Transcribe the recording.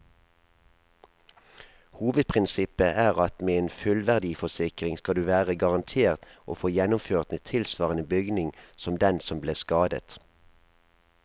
Hovedprinsippet er at med en fullverdiforsikring skal du være garantert å få gjenoppført en tilsvarende bygning som den som ble skadet.